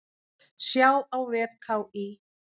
Sjá á vef KÍ.